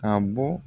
Ka bɔ